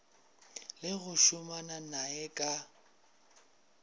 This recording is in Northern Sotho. le go šomana naye ka